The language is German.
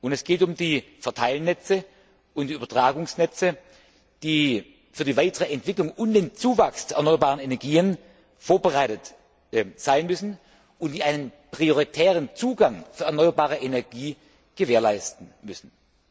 Es geht um die Verteilnetze und die Übertragungsnetze, die für die weitere Entwicklung und den Zuwachs der erneuerbaren Energien vorbereitet sein müssen und die einen prioritären Zugang für erneuerbare Energie gewährleisten müssen.